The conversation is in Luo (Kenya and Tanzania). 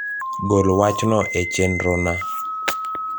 gol wach no e chenro na